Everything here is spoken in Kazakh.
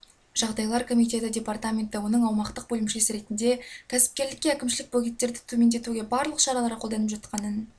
жағдайлар комитеті департаменті оның аумақтық бөлімшесі ретінде кәсіпкерлікке әкімшілік бөгеттерді төмендетуге барлық шаралар қолданып жатқанын